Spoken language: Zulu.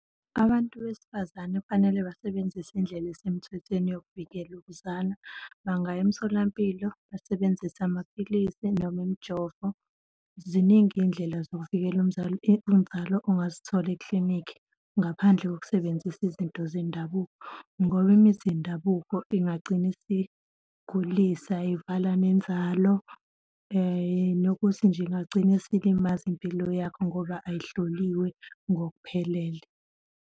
Abantu besifazane kufanele basebenzise indlela esemthwethweni yokuvikela ukuzala, bangaya emtholampilo, basebenzise amaphilisi, noma imijovo. Ziningi iy'ndlela zokuvikela inzalo ongazithola iklinikhi ngaphandle kokusebenzisa izinto zendabuko, ngoba imithi yendabuko ingagcina isigulisa, ivala nenzalo nokuthi nje ingagcina isilimaza impilo yakho ngoba ayihloliwe ngokuphelele.